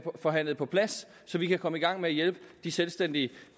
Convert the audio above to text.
forhandlet på plads så vi kan komme i gang med hjælpe de selvstændige